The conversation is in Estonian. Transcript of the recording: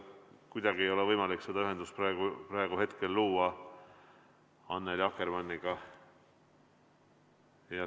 Kuidagi ei ole võimalik seda ühendust praegu luua, Annely Akkermann.